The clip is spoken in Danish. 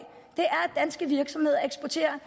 er virksomheder eksporterer